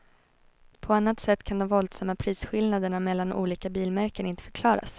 På annat sätt kan de våldsamma prisskillnaderna mellan olika bilmärken inte förklaras.